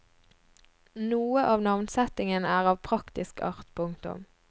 Noe av navnsettingen er av praktisk art. punktum